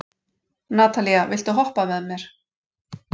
Natalía, viltu hoppa með mér?